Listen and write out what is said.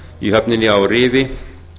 á höfninni á rifi